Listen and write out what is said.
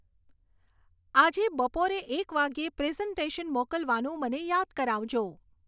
આજે બપોરે એક વાગ્યે પ્રેઝન્ટેશન મોકલવાનું મને યાદ કરાવજો